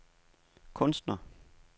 kunstner